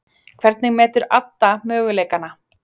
Hvernig metur Adda möguleikana?